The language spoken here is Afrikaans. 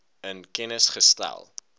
in kennis gestel